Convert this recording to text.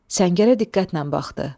Səngərə diqqətlə baxdı.